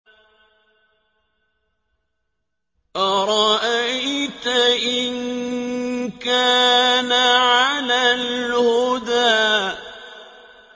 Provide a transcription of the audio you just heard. أَرَأَيْتَ إِن كَانَ عَلَى الْهُدَىٰ